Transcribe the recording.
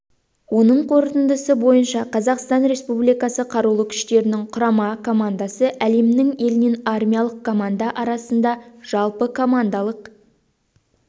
оның қорытындысы бойынша қазақстан республикасы қарулы күштерінің құрама командасы әлемнің елінен армиялық команда арасында жалпы командалық